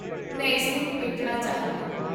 ਮੈਂ ਇਸਨੂੰ ਲਪੇਟਣਾ ਚਾਹਾਂਗਾ